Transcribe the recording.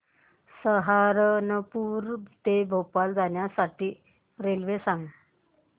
सहारनपुर ते भोपाळ जाण्यासाठी रेल्वे सांग